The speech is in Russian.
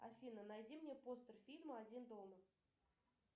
афина найди мне постер фильма один дома